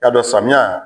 Y'a dɔn samiya